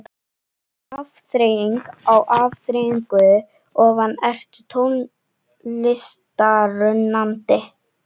Afþreying á afþreyingu ofan Ertu tónlistarunnandi?